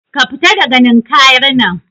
ka fita daga Ninkayar nan